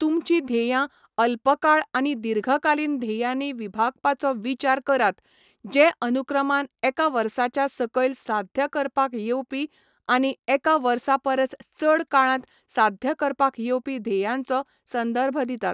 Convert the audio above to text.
तुमचीं ध्येयां अल्पकाळ आनी दीर्घकालीन ध्येयांनी विभागपाचो विचार करात, जे अनुक्रमान एका वर्साच्या सकयल साध्य करपाक येवपी आनी एका वर्सा परस चड काळांत साध्य करपाक येवपी ध्येयांचो संदर्भ दितात.